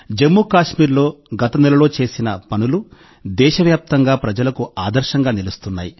జమ్మూ కశ్మీర్లో గత నెలలో చేసిన పనులు దేశవ్యాప్తంగా ప్రజలకు ఆదర్శంగా నిలుస్తున్నాయి